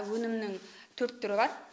өнімнің төрт түрі бар